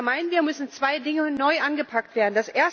Und da meinen wir müssen zwei Dinge neu angepackt werden.